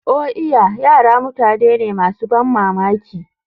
Oh iya! Yara mutane ne masu ban mamaki.